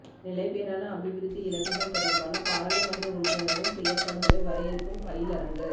நிலைபேறான அபிவிருத்தி இலக்குகள் தொடர்பான பாராளுமன்ற உறுப்பினர்களின் செயற்பாடுகளை வரையறுக்கும் பயிலரங்கு